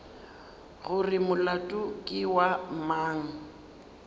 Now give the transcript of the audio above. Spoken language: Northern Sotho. gore molato ke wa mang